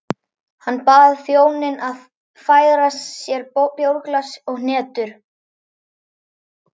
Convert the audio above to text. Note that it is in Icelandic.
Hann bað þjóninn að færa sér bjórglas og hnetur.